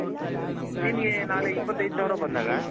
ನಿಮ್ಮಗೆ ನಾಳೆ ಇಪತ್ ಏದು ಸಾವಿರ ಬಂದಾಗ .